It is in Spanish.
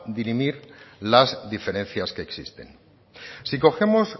dirimir las diferencias que existen si cogemos